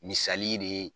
Misali de ye